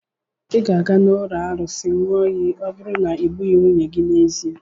Ị ga-aga n'ụlọ arụsị ịṅụ iyi ọ bụrụ na i gbughị nwunye gị n'ezie.